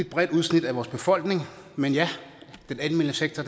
bredt udsnit af vores befolkning men ja den almene sektor